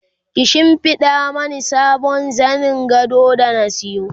ki shimfiɗa Mani sabon zanin gado da na sayo